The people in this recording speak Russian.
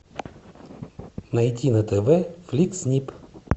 найди на тв фликс нип